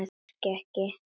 Fnæsir ekki.